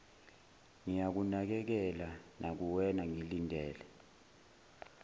ngiyakunakekela nakuwena ngilindele